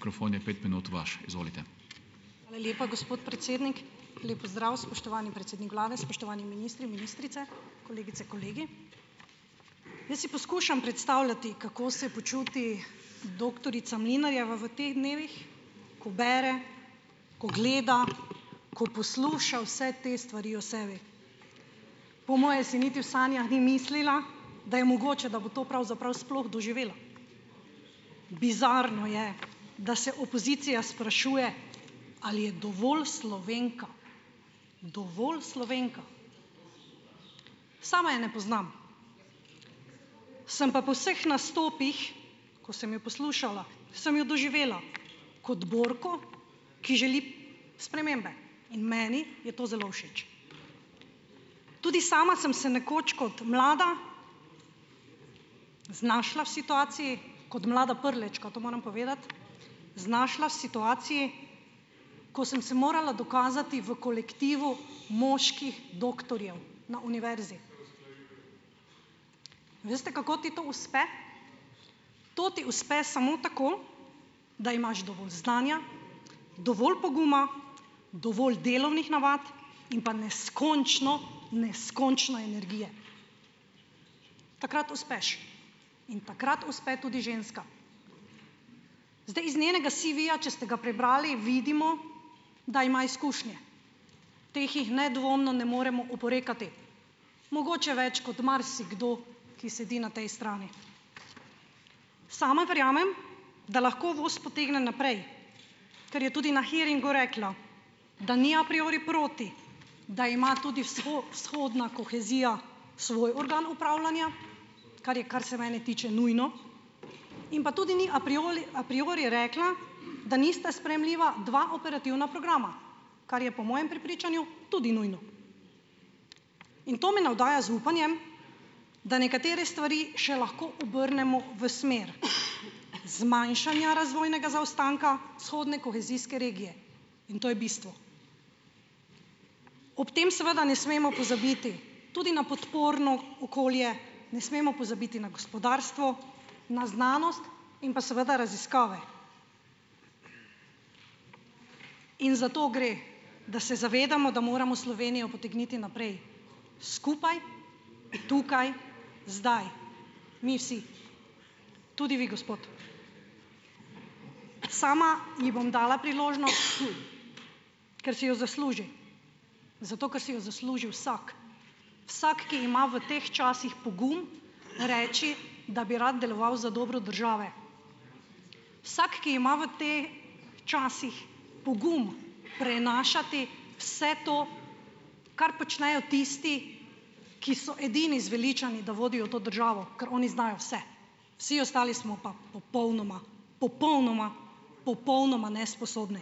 Hvala lepa, gospod predsednik. Lep pozdrav, spoštovani predsednik vlade, spoštovani ministri, ministrice, kolegice, kolegi. Jaz si poskušam predstavljati, kako se počuti doktorica Mlinarjeva v teh dnevih, ko bere, ko gleda, ko posluša vse te stvari o sebi. Po moje si niti v sanjah ni mislila, da je mogoče, da bo to pravzaprav sploh doživela. Bizarno je, da se opozicija sprašuje, ali je dovolj Slovenka. Dovolj Slovenka. Sama je ne poznam. Sem pa po vseh nastopih, ko sem jo poslušala, sem jo doživela kot borko, ki želi spremembe, in meni je to zelo všeč. Tudi sama sem se nekoč kot mlada znašla v situaciji, kot mlada Prlečka, to moram povedati, znašla v situaciji, ko sem se morala dokazati v kolektivu moških doktorjev na univerzi. Veste, kako ti to uspe? To ti uspe samo tako, da imaš dovolj znanja, dovolj poguma, dovolj delovnih navad in pa neskončno, neskončno energije. Takrat uspeš. In takrat uspe tudi ženska. Zdaj, iz njenega CV-ja, če ste ga prebrali, vidimo, da ima izkušnje. Teh jih nedvomno ne moremo oporekati. Mogoče več kot marsikdo, ki sedi na tej strani. Sama verjamem, da lahko vas potegne naprej, ker je tudi na hearingu rekla, da ni a priori proti, da ima tudi vzhodna kohezija svoj organ upravljanja, kar je, kar se mene tiče, nujno in pa tudi ni a priori rekla, da nista sprejemljiva dva operativna programa. Kar je po mojem prepričanju tudi nujno. In to me navdaja z upanjem, da nekatere stvari še lahko obrnemo v smer zmanjšanja razvojnega zaostanka vzhodne kohezijske regije in to je bistvo. Ob tem seveda ne smemo pozabiti tudi na podporno okolje, ne smemo pozabiti na gospodarstvo, na znanost in pa seveda raziskave. In zato gre, da se zavedamo, da moramo Slovenijo potegniti naprej skupaj tukaj zdaj mi vsi, tudi vi gospod. Sama ji bom dala priložnost, ker si jo zasluži, zato ker si jo zasluži vsak, vsak, ki ima v teh časih pogum reči, da bi rad deloval za dobro države. Vsak, ki ima v časih pogum prenašati vse to, kar počnejo tisti, ki so edini zveličavni, da vodijo to državo, ker oni znajo vse. Vsi ostali smo pa popolnoma, popolnoma, popolnoma nesposobni.